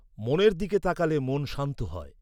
মনের দিকে তাকালে মন শান্ত হয়।